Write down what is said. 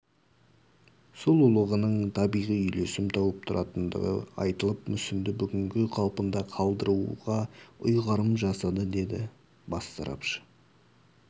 сұлулығының табиғи үйлесім тауып тұратындығы айтылып мүсінді бүгінгі қалпында қалдыруға ұйғарым жасады деді бас сарапшы